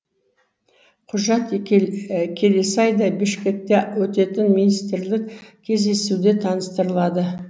құжат келесі айда бішкекте өтетін министрлік кездесуде таныстырылады